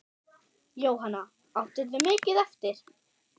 Jóhanna: Áttirðu mikið eftir?